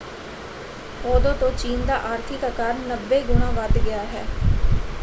ਉਦੋਂ ਤੋਂ ਚੀਨ ਦਾ ਆਰਥਿਕ ਆਕਾਰ 90 ਗੁਣਾ ਵੱਧ ਗਿਆ ਹੈ।